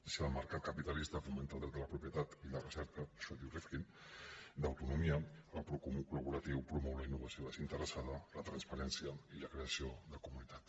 si el mercat capi·talista fomenta el dret de la propietat i la recerca ai·xò diu rifkin d’autonomia el procomú col·laboratiu promou la innovació desinteressada la transparència i la creació de comunitat